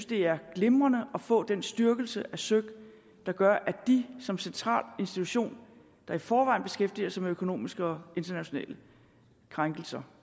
det er glimrende at få den styrkelse af søik der gør at de som central institution der i forvejen beskæftiger sig med økonomiske og internationale krænkelser